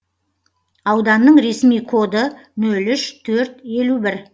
ауданның ресми коды нөл үш төрт елу бір